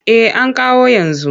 Eh an kawo yanzu.